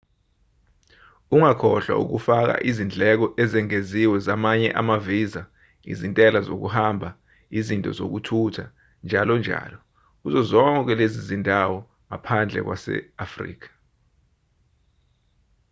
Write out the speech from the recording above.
ungakhohlwa ukufaka izindleko ezengeziwe zamanye ama-visa izintela zokuhamba izinto zokuthutha njll kuzo zonke lezo zindawo ngaphandle kwase-afrika